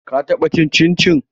Ka taɓa cin cincin?